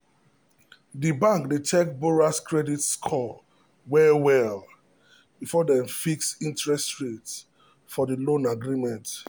the bank dey check borrower's credit score well well before dem fix the interest rate for the loan agreement.